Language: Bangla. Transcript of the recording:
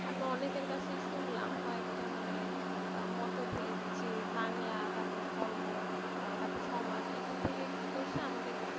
আমি অনেকের কাছেই শুনলাম কয়েকটা মানে আহ মতভেদ যে বাংলা তারপরে ধর্ম তারপরে সমাজ এখান থেকে কী করছে আমাদের,